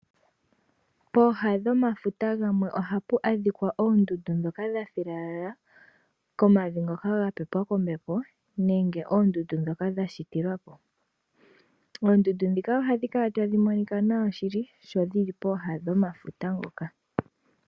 Pooha dhomafuta gamwe ohapu adhikwa oondundu dhoka dhathilala komavi ngoka gapepwa kombepo nenge oondundu dhoka dhashitilwapo. Oondundu dhika odhi kala tadhi monikwa nawa shili sho dhili pooha dhomafuta ngoka.